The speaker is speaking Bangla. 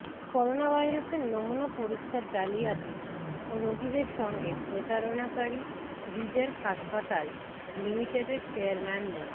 করোনাভাইরাসের নমুনা পরীক্ষার জালিয়াতি ও রোগীদের সঙ্গে প্রতারণাকারী রিজেন্ট হাসপাতাল লিমিটেডের চেয়ারম্যান মো